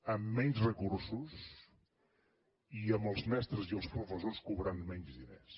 amb menys recursos i amb els mestres i els pro fessors cobrant menys diners